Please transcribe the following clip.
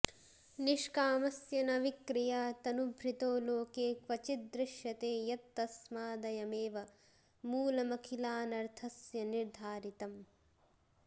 निष्कामस्य न विक्रिया तनुभृतो लोके क्वचिद्दृश्यते यत्तस्मादयमेव मूलमखिलानर्थस्य निर्धारितम्